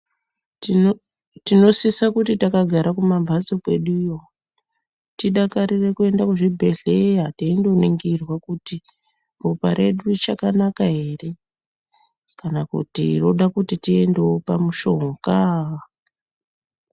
Tinosisa kuti takagara kumamphatso kweduyo, tidakarire kuenda kuzvibhedhleya teindoningirwa kuti, ropa redu richakanaka ere, kana kuti roda kuti tiendewo pamishonga .